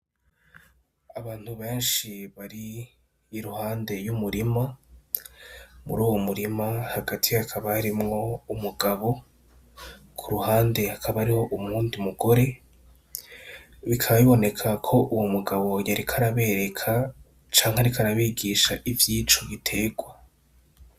Abantu benshi bari iruhande y'umurima, muruwo murima hagati hakaba harimwo umugabo, kuruhande hakaba hariho uwundi mugore, bikaba biboneka ko uwo mugabo yariko arabereka canke yariko arabigisha ivyico giterwa.